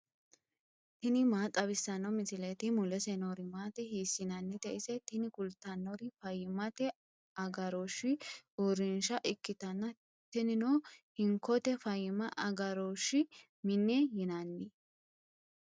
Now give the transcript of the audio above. tini maa xawissanno misileeti ? mulese noori maati ? hiissinannite ise ? tini kultannori fayyimmate agarooshshi uurrinshsha ikkitanna tinino hinkote fayyimma agarooshshi mine yinanni.